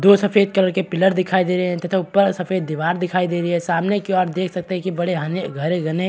दो सफ़ेद कलर के पिलर दिखाई दे रहे हैं तथा ऊपर सफ़ेद दीवार दिखाई दे रही है सामने की और देख सकते हैं कि बड़े हाने बड़े घने --